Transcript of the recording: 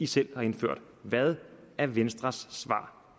selv har indført hvad er venstres svar